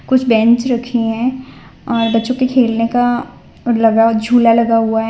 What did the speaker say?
कुछ बेंच रखे हैं और बच्चों के खेलने का लगा झूला लगा हुआ है।